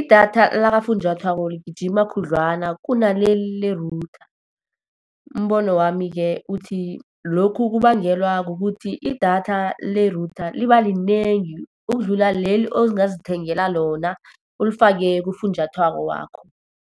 idatha lakafunjathwako ligijima khudlwana kunaleli le-router. Umbono wami-ke uthi lokhu kubangelwa kukuthi idatha le-router liba linengi, ukudlula leli ongazithengela lona, ulifake kufunjathwako wakho.